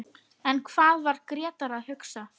En hvað var Grétar að hugsa?